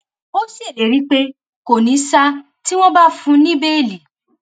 ó ṣèlérí pé kò ní ṣa tí wọn bá fún un ní béèlì